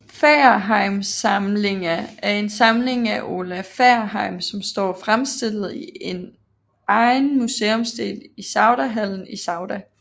Fagerheimsamlinga er en samling af Ola Fagerheim som står fremstillet i en egen museumsdel i Saudahallen i Sauda